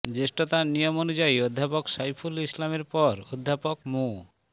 জ্যেষ্ঠতার নিয়ম অনুযায়ী অধ্যাপক সাইফুল ইসলামের পর অধ্যাপক মু